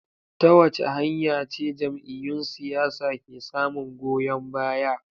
Ta wace hanya ce jam’iyyun siyasa ke samun goyon baya?